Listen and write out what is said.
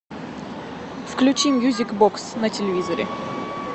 включи мьюзик бокс на телевизоре